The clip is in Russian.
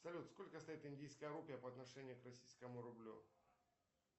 салют сколько стоит индийская рупия по отношению к российскому рублю